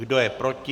Kdo je proti?